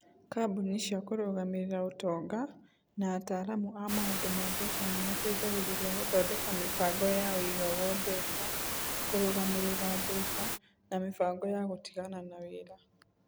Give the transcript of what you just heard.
Kambuni cia kũrũgamĩrĩra ũtonga, na ataaramu a maũndũ ma mbeca nĩ mateithagĩrĩria gũthondeka mĩbango ya ũigagwo mbeca, kũrũgamĩrĩra mbeca, na mĩbango ya gũtigana na wĩra.